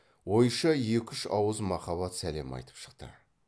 ойша екі үш ауыз махаббат сәлем айтып шықты